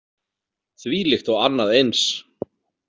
Þvílíkt og annað eins!